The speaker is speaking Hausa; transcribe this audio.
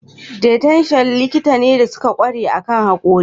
Dietitian likitoci ne da suka ƙware akan haƙora.